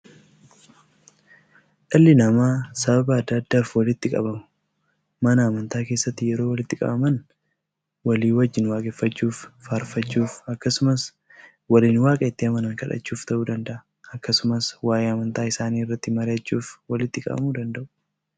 Dhalli namaa sababa adda addaaf walitti qabamuu. Mana amantaa keessatti yeroo walitti qabaman, walii wajjiin waaqeffachuuf, faarfachuuf akkasumas waliin waaqa itti amanan kadhachuuf ta'uu danda'a. Akkasumas waa'ee amantaa isaanii irratti mari'achuuf walitti qabamuu danda'u.